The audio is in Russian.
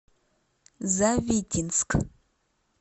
завитинск